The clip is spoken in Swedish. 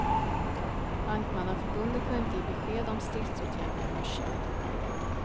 Bankmannaförbundet kunde inte ge besked om stridsåtgärderna i morse.